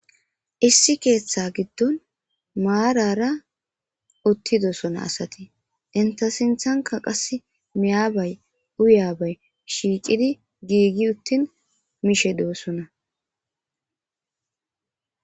issi keeththa giddon maarara uttidosona asati inta sinthanka qas miyabay uyaabay shiicidi giigi uttin mishe doosona